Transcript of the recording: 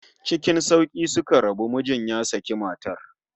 Ckin sauki suka rabu, mijin ya saki matar